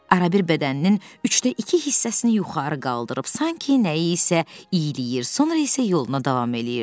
Arabir bədəninin üçdə iki hissəsini yuxarı qaldırıb sanki nəyisə iyləyir, sonra isə yoluna davam eləyirdi.